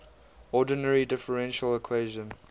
ordinary differential equation